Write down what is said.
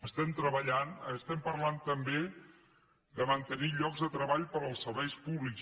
estem parlant també de mantenir llocs de treball per als serveis públics